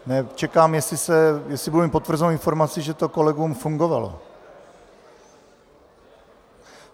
Čekám, jestli budu mít potvrzenou informaci, že to kolegům fungovalo.